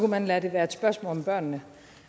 man lade det være et spørgsmål om børnene